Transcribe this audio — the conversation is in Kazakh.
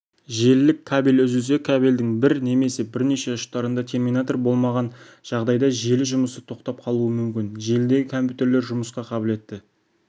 желілік кабель үзілсе кабельдің бір немесе бірнеше ұштарында терминатор болмаған жағдайда желі жұмысы тоқтап қалуы мүмкін желідегі компьютерлер жұмысқа қабілетті